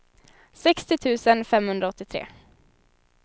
sextio tusen femhundraåttiotre